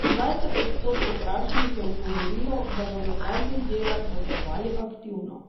Dvajset odstotkov vprašanih je odgovorilo, da bodo praznik dela praznovali aktivno.